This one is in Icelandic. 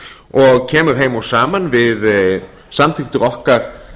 og kemur heim og saman við samþykktir okkar